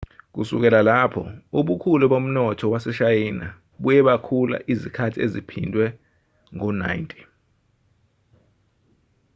kusukela lapho ubukhulu bomnotho waseshayina buye bakhula izikhathi eziphindwe ngo-90